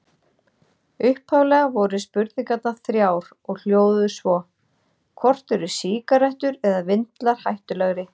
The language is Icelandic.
Upphaflega voru spurningarnar þrjár og hljóðuðu svo: Hvort eru sígarettur eða vindlar hættulegri?